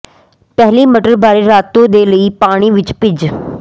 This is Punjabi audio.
ਪਹਿਲੀ ਮਟਰ ਬਾਰੇ ਰਾਤੋ ਦੇ ਲਈ ਪਾਣੀ ਵਿਚ ਭਿੱਜ